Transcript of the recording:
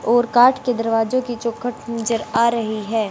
और काठ के दरवाजो की चौखट नजर आ रही है।